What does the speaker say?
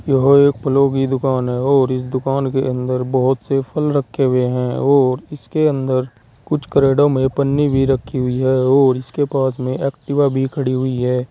यह एक फलों की दुकान है और इस दुकान के अंदर बहोत से फल रखे हुए हैं और इसके अंदर कुछ क्रेडो में पन्नी भी रखी हुई है और उसके पास में एक्टिवा भी खड़ी हुई है।